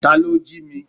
Ta ló jí mi?